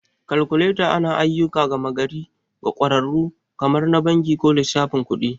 Kalkuleta anayi ayyukan gama gari ga ƙwararru kamar na banki ko lissafin kuɗi.